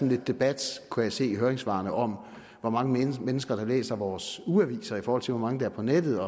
lidt debat kunne jeg se i høringssvarene om hvor mange mennesker der læser vores ugeaviser i forhold til hvor mange der er på nettet